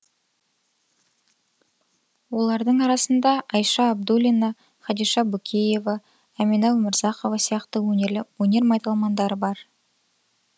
олардың арасында айша абдуллина хадиша бөкеева әмина өмірзақова сияқты өнер майталмандары бар